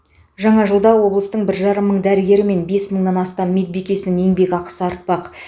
жаңа жылда облыстың бір жарым мың дәрігері мен бес мыңнан астам медбикесінің еңбекақысы артпақ